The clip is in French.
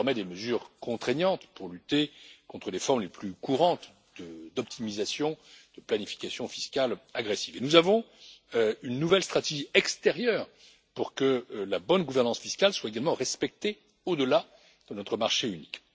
disposons désormais de mesures contraignantes pour lutter contre les formes les plus courantes d'optimisation et de planification fiscales agressives, ainsi que d'une nouvelle stratégie extérieure pour que la bonne gouvernance fiscale soit également respectée au delà de notre marché unique.